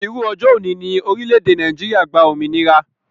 Irú ọjọ́ òní ni orílédé Nàìjíría gba òmìnira